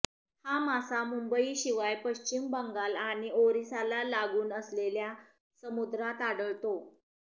हा मासा मुंबई शिवाय पश्चिम बंगाल आणि ओरिसाला लागून असलेल्या समुद्रात आढळतो